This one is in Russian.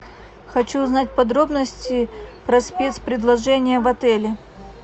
хочу узнать подробности про спецпредложения в отеле